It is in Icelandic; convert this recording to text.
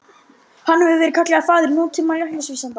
Hann hefur verið kallaður faðir nútíma læknavísinda.